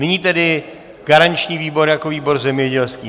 Nyní tedy garanční výbor jako výbor zemědělský.